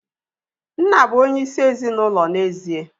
Nna bụ onyeisi ezinaụlọ n'ezie